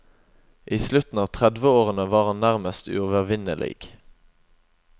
I slutten av tredveårene var han nærmest uovervinnelig.